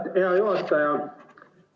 Hea juhataja!